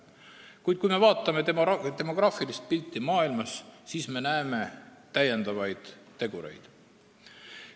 Kuid kui me vaatame demograafilist pilti maailmas, siis me näeme täiendavaid tegureid.